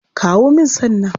Kawo min san nan.